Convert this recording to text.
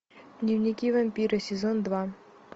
дневники вампира сезон два